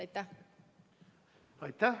Aitäh!